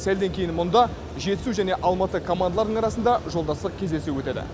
сәлден кейін мұнда жетісу мен алматы командаларының арасында жолдастық кездесу өтеді